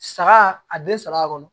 Saga a den saba kɔnɔ